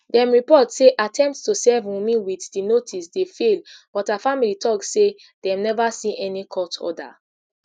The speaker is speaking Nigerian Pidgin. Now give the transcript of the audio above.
dem report say attempt to serve wunmi wit di notice dey fail but her family tok say dem neva see any court order